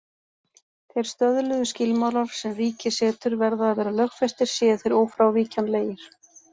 Þeir stöðluðu skilmálar sem ríkið setur verða að vera lögfestir séu þeir ófrávíkjanlegir.